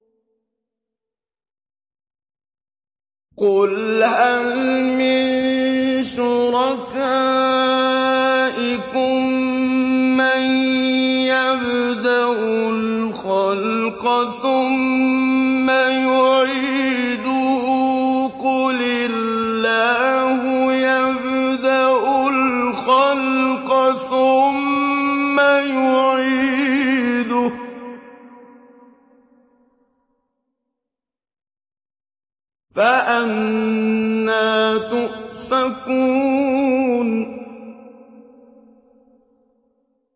قُلْ هَلْ مِن شُرَكَائِكُم مَّن يَبْدَأُ الْخَلْقَ ثُمَّ يُعِيدُهُ ۚ قُلِ اللَّهُ يَبْدَأُ الْخَلْقَ ثُمَّ يُعِيدُهُ ۖ فَأَنَّىٰ تُؤْفَكُونَ